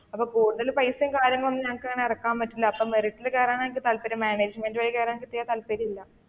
അപ്പൊ കൂടുതൽ പൈസയും കാര്യങ്ങളൊന്നും ഞങ്ങൾക്ക് അങ്ങനെ ഇറക്കാൻ പറ്റില്ല അപ്പൊ മെറിറ്റിൽ കേറാനാണ് എനിക്ക് താല്പര്യം മാനേജ്‌മന്റ് വഴി കേറാൻ എനിക്ക് തീരെ താല്പര്യം ഇല്ല.